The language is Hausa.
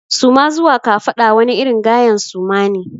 Suma zuwa kafaɗa wani irin gayen suma ne.